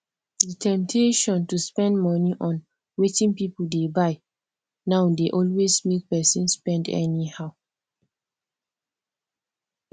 di temptation to spend money on wetin people dey buy now dey always make person spend anyhow